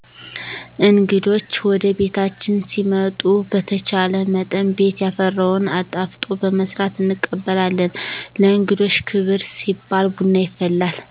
እንግዶች ወደቤታችን ሲመጡ በተቻለመጠን ቤት ያፈራውን አጣፍጦ በመስራት እንቀበላለን። ለእንግዶች ክብር ሲባል ቡና ይፈላል።